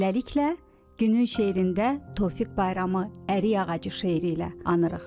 Beləliklə, Günün şeirində Tofiq Bayramı ərik ağacı şeiri ilə anırıq.